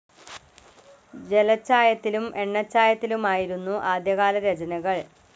ജലച്ചായത്തിലും എണ്ണച്ചായത്തിലുമായിരുന്നു ആദ്യകാല രചനകൾ.